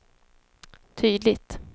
tydligt